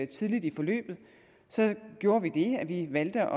tidligt i forløbet så gjorde vi det at vi valgte